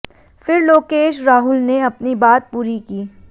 फिर लोकेश राहुल ने अपनी बात पूरी की